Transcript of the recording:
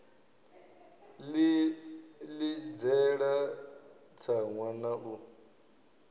ḽi ḽidzela tsaṅwa na u